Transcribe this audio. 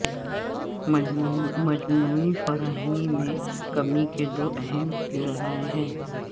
مجموعی فراہمی میں کمی کے دو اہم ذرائع ہیں